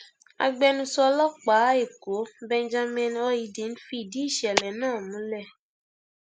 agbẹnusọ ọlọpàá ẹkọ benjamin hondnyin fìdí ìṣẹlẹ náà múlẹ